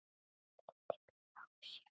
Vildi bíða og sjá.